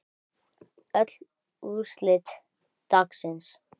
Öll úrslit dagsins